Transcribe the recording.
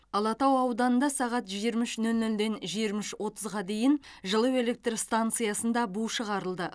алатау ауданында сағат жиырма үш нөл нөлден жиырма үш отызға дейін жылу электр станциясында бу шығарылды